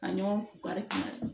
Ka ɲɔgɔn barika